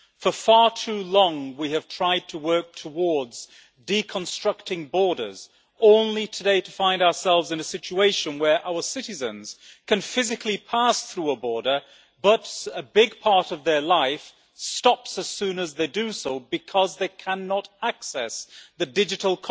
For far too long we have tried to work towards deconstructing borders, only today to find ourselves in a situation where our citizens can physically pass through a border, but a big part of their life stops as soon as they do so because they cannot access the digital